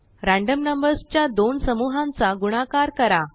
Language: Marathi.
रयाण्डमनंबर्सच्या दोनसमूहांचा गुणाकार करा